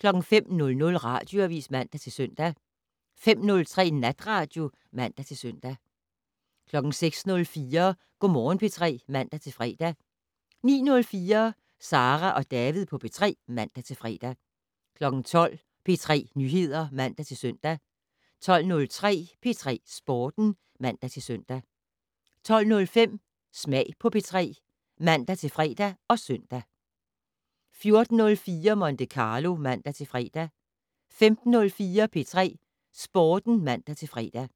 05:00: Radioavis (man-søn) 05:03: Natradio (man-søn) 06:04: Go' Morgen P3 (man-fre) 09:04: Sara og David på P3 (man-fre) 12:00: P3 Nyheder (man-søn) 12:03: P3 Sporten (man-søn) 12:05: Smag på P3 (man-fre og søn) 14:04: Monte Carlo (man-fre) 15:04: P3 Sporten (man-fre)